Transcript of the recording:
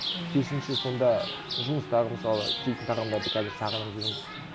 керісінше сонда жұмыстағы мысалы жейтін тағамдарды қазір сағынып жүрмін